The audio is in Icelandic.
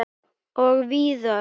Og víðar.